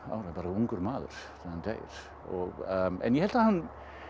bara ungur maður ég held að hann